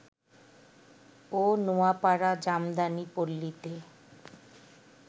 ও Noapara jamdani পল্লীতে